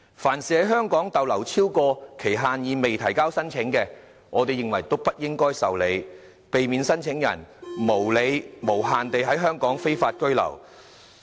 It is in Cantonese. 凡是在港逗留超過期限而未提交申請的，都不應該受理，避免聲請人無理並無限期地在香港非法居留。